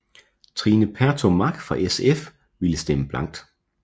Trine Pertou Mach fra SF ville stemme blankt